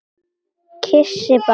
Kyssi bara.